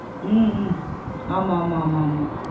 உம் உம் ஆமா ஆமா ஆமா